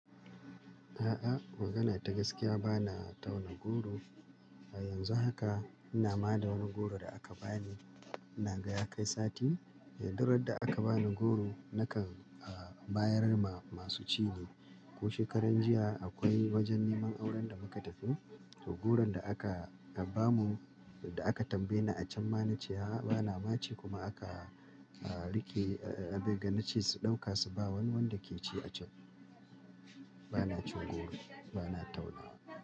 A'a, magana ta gaskiya bana tauna goro. Yanzu haka ina ma da wani goro da aka bani. Ina ga ya kai sati. Duk dai yarda aka bani goro nakan, uh, bayar ma masu ci ne. Ko shekaran jiya akwai wajen neman auren da muka tafi, to goron da aka ba mu, da aka tambaye ni a can mana ce a'a bana ma ci kuma aka, uh, rike, uh, abeg na ce su ɗauka su ba wani wanda ke ci a can. Bana cin goro, bana taunawa.